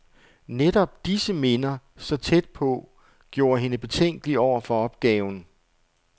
Netop disse minder, så tæt på, gjorde hende betænkelig over for opgaven.